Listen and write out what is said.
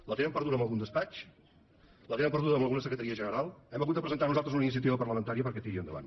la tenen perduda en algun despatx la tenen perduda en alguna secretaria general hem hagut de presentar nosaltres una iniciativa parlamentària perquè tiri endavant